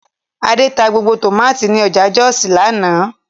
Adé ta gbogbo tòmátì ní ọjà Jọ́òsì lánàá